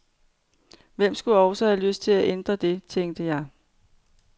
Hvem skulle også have lyst til at ændre det, tænker jeg.